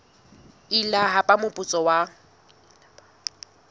ile ba hapa moputso wa